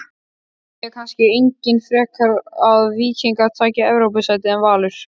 Vilja kannski einnig frekar að Víkingur taki Evrópusætið en Valur?